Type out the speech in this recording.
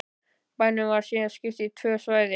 Bænum var síðan skipt í tvö svæði